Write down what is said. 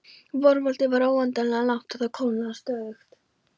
Vorkvöldið var óendanlega langt og það kólnaði stöðugt.